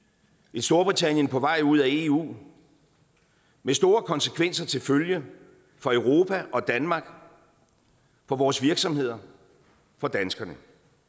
et storbritannien på vej ud af eu med store konsekvenser til følge for europa og danmark for vores virksomheder for danskerne